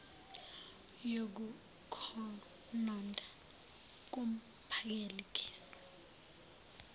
yokukhononda kumphakeli gesi